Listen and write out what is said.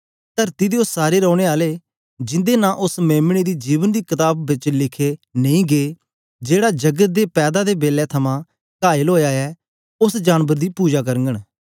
तरती दे ओ सारे रैने आले जिंदे नां उस्स मेम्ने दी जीवन दी कताब बिच लिखे नेई गै जेहड़ा जगत दे पैदा दे बेलै थमां कायल ओया ऐ उस्स जानबर दी पुजा करघंन